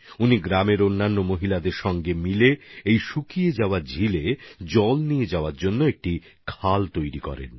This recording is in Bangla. তিনি গ্রামেরই অন্য মহিলাদের সঙ্গে নিয়ে এই শুকনো হ্রদ পর্যন্ত জল নিয়ে আসার জন্য এক নালা তৈরি করে ফেলেছেন